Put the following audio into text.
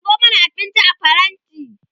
ɗebo mana abinci a faranti!